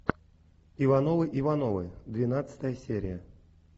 ивановы ивановы двенадцатая серия